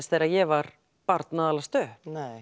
þegar ég var barn